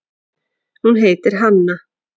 Hún heitir Hanna.